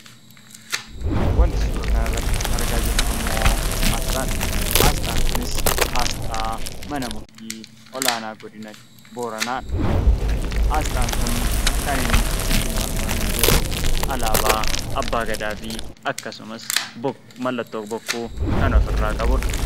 Wanti suuraa kanarratti argaa jirru immoo asxaadha. Asxaan kunis asxaa mana murtii olaanaa godina booranaadha. Asxaan kun kan inni ittiin marfamee jiru alaabaa abbaa gadaa fi akkasumas mallattoo bokkuu kan ofirraa qabudha.